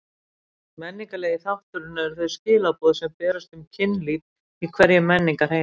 Menningarlegi þátturinn eru þau skilaboð sem berast um kynlíf í hverjum menningarheimi.